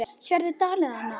Sérðu dalinn þarna?